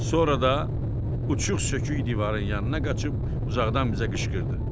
Sonra da uçq sökük divarın yanına qaçıb uzaqdan bizə qışqırdı.